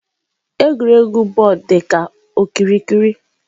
Egwuregwu bọọlụ dị ka okirikiri.